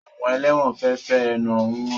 Àwọn ẹlẹ́wọ̀n fẹ fẹ́ ehonu hàn